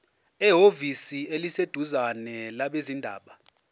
ehhovisi eliseduzane labezindaba